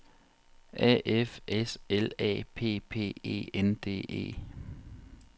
A F S L A P P E N D E